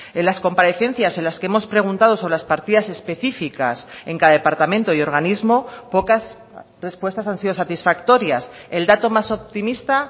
en las comparecencias en las que hemos preguntado sobre las partidas específicas en cada departamento y organismo pocas respuestas han sido satisfactorias el dato más optimista